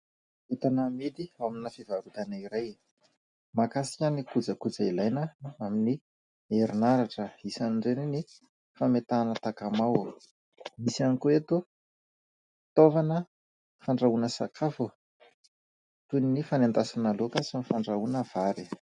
Entana amidy ao amina fivarotana iray mahakasika ny kojakoja ilaina amin'ny herinaratra isan'ireny ny fametahana takamoa, misy ihany koa eto fitaovana fandrahoana sakafo toy ny fanendasana laoka sy ny fandrahoana vary.